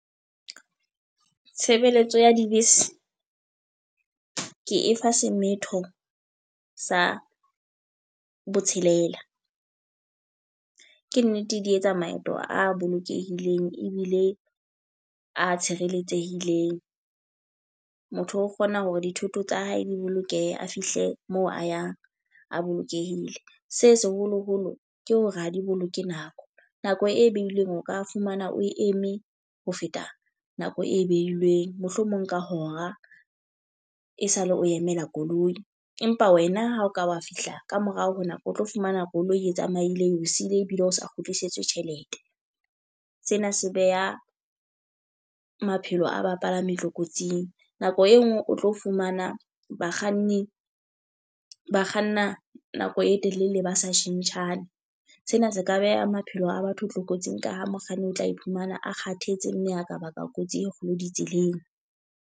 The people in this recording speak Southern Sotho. Tshebeletso ya dibese, ke e fa semetho sa botshelela. Ke nnete di etsa maeto a bolokehileng ebile a tshireletsehileng. Motho o kgona hore dithoto tsa hae di bolokehe a fihle mo a yang a bolokehile. Se seholoholo ke hore ha di boloke nako. Nako e behilweng o ka fumana o e eme ho feta nako e behilweng, mohlomong ka hora e sale o emela koloi. Empa wena ha o ka wa fihla ka morao ho nako, o tlo fumana koloi e tsamaile eo siile ebile o sa kgutlisetswe tjhelete. Sena se beha maphelo a bapalami tlokotsing. Nako ho e nngwe o tlo fumana bakganni ba kganna nako e telele ba sa tjhentjhane. Sena se ka beha maphelo a batho tlokotsing ka ho mokganni o tla iphumana a kgathetse mme a ka baka kotsi e kgolo ditseleng.